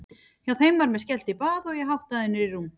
Hjá þeim var mér skellt í bað og ég háttaður niður í rúm.